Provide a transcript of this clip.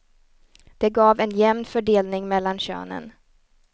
Det gav en jämn fördelning mellan könen.